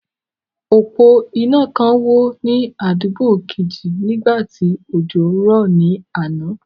Òpó iná kan wó ní àdúgbò kejì nígbà tí òjò ń rọ̀ ní àná.